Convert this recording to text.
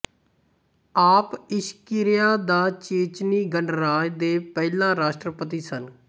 ਆਪ ਇਸ਼ਕੀਰੀਆ ਦਾ ਚੇਚਨੀ ਗਣਰਾਜ ਦੇ ਪਹਿਲਾ ਰਾਸਟਰਪਤੀ ਸਨ